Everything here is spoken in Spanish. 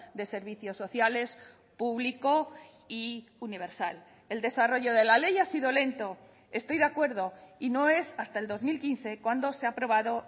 de servicios sociales público y universal el desarrollo de la ley ha sido lento estoy de acuerdo y no es hasta el dos mil quince cuando se ha aprobado